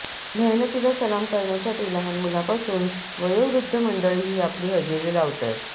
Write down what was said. मेहनतीला सलाम करण्यासाठी लहान मुलापासून वयोवृद्ध मंडळी ही आपली हजेरी लावतात